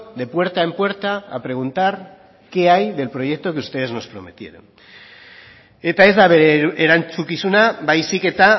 de puerta en puerta a preguntar qué hay del proyecto que ustedes nos prometieron eta ez da bere erantzukizuna baizik eta